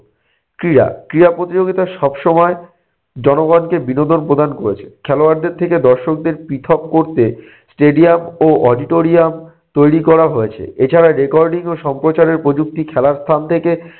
ক্রীড়া - ক্রীড়া প্রতিযোগিতা সব সময় জনগণকে বিনোদন প্রদান করেছে। খেলোয়াড়দের থেকে দর্শকদের পৃথক করতে stadium ও auditorium তৈরি করা হয়েছে। এছাড়া recording ও সম্প্রচারের প্রযুক্তি খেলার স্থান থেকে